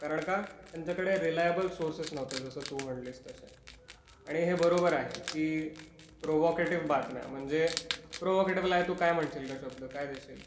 कारण का त्यांच्या कडे रीलायबल सोर्सेस नव्हते जस तू म्हणटलीस तस आणि हे बरोबर आहे की प्रोव्होकॅटिव्ह बातम्या, म्हणजे प्रोव्होकॅटिव्हला तू आई काय म्हणशील काशातलं, काय म्हणशील?